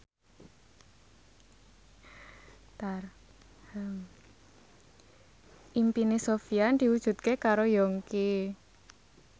impine Sofyan diwujudke karo Yongki